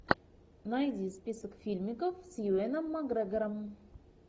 найди список фильмиков с юэном макгрегором